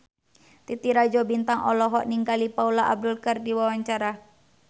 Titi Rajo Bintang olohok ningali Paula Abdul keur diwawancara